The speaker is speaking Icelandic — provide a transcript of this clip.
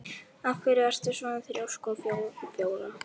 Af hverju ertu svona þrjóskur, Flóra?